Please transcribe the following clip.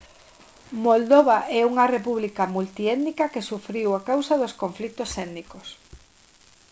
moldova é unha república multiétnica que sufriu a causa dos conflitos étnicos